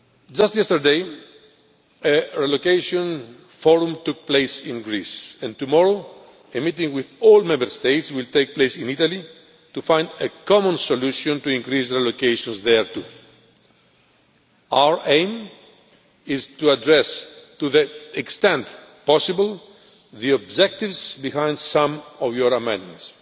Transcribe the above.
Just yesterday, a relocation forum took place in Greece and tomorrow a meeting with all Member States will take place in Italy to find a common solution in order to increase relocations there too. Our aim is to address, to the extent possible, the objectives behind some of your amendments.